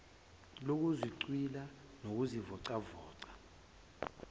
lokuzithwishila nokuzivoca voca